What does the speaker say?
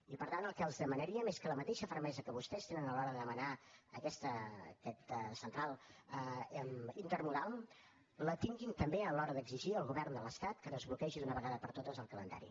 i per tant el que els demanaríem és que la mateixa fermesa que vostès tenen a l’hora de demanar aquesta central intermodal la tinguin també a l’hora d’exigir al govern de l’estat que desbloquegi d’una vegada per totes el calendari